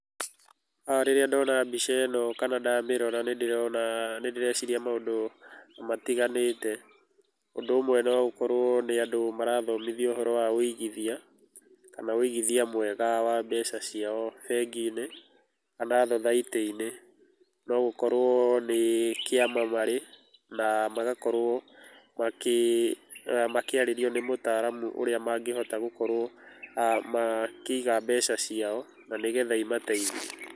aah Rĩrĩa ndona mbica ĩno, kana ndamĩrora nĩndĩrona nĩndĩreciria maũndũ matiganĩte, ũndũ ũmwe noũkorwo nĩ andũ marathomithio ũhoro wa wũigithia, kana wũigithia mwega wa mbeca ciao bengi-inĩ, ka na thathaiti-inĩ, nogũkorwo nĩ kĩama marĩ, na magakorwo makĩ makĩarĩrio nĩ mũtaramu ũrĩa mangĩhota gũkorwo aah makĩiga mbeca ciao na nĩgetha imateithie.